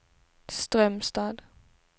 Strömstad